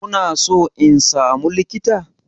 Kuna so in samu likita?